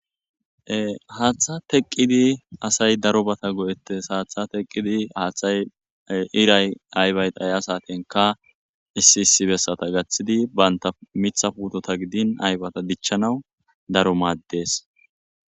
Haaththa teqqidi asay daro bata go7ettes haatha teqqidi haaththay iray aybayed aya satenka issi issi bessata gaththidi banta mitha puutota gidin aybata dichchanawu daro maaddees.